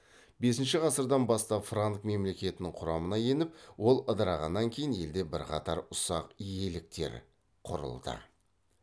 бесінші ғасырдан бастап франк мемлекетінің құрамына еніп ол ыдырағаннан кейін елде бірқатар ұсақ иеліктер құрылды